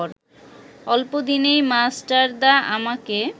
অল্পদিনেই মাস্টারদা আমাকে